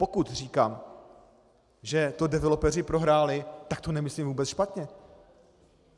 pokud říkám, že to developeři prohráli, tak to nemyslím vůbec špatně.